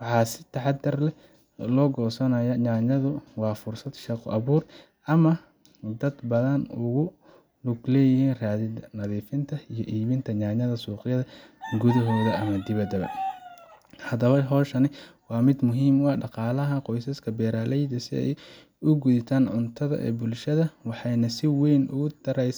Waxaa intaas dheer, goosashada yaanyadu waa fursad shaqo-abuur u ah dad badan oo ku lug leh raridda, nadiifinta, iyo iibinta yaanyada suuqyada gudaha ama dibadda. Haddaba, hawshan waa mid muhiim u ah dhaqaalaha qoysaska beeraleyda iyo sugidda cuntada ee bulshada, waxayna si weyn uga taraysaa.